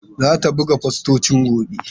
Zata buga fostocin gobe.